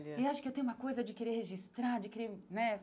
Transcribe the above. E acho que eu tenho uma coisa de querer registrar, de querer, né?